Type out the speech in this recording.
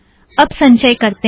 अब संचय करतें हैं